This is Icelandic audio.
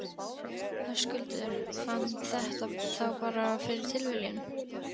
Höskuldur: Fann þetta þá bara fyrir tilviljun?